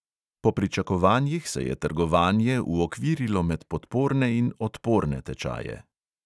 Po pričakovanjih se je trgovanje uokvirilo med podporne in odporne tečaje.